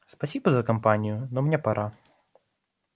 спасибо за компанию но мне пора